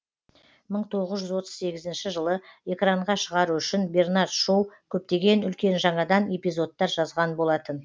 мың тоғыз жүз отыз сегізінші жылы экранға шығару үшін бернард шоу көптеген үлкен жаңадан эпизодтар жазған болатын